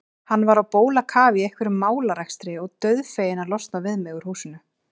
Hann var á bólakafi í einhverjum málarekstri og dauðfeginn að losna við mig úr húsinu.